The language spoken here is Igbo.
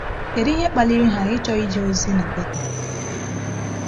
Kedu ihe kpaliri ha ịchọ ije ozi na Bethel?